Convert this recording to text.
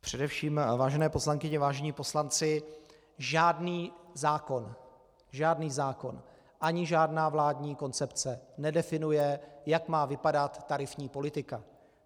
Především, vážené poslankyně, vážení poslanci, žádný zákon, žádný zákon ani žádná vládní koncepce nedefinuje, jak má vypadat tarifní politika.